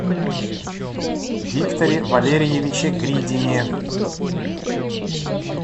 викторе валерьевиче гридине